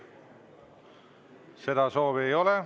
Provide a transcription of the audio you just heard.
Seda soovi ei ole.